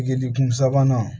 Bigidikun sabanan